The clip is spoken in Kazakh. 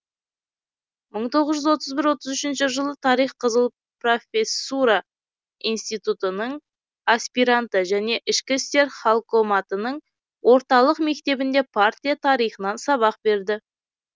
мың тоғыз жүз отыз бір отыз үшінші жылы тарих қызыл профессура институтының аспиранты және ішкі істер халкоматының орталық мектебінде партия тарихынан сабақ берді